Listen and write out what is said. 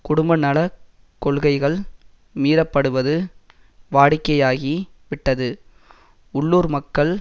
குடும்பநலக் கொள்கைகள் மீறப்படுவது வாடிக்கையாகி விட்டது உள்ளூர் மக்கள்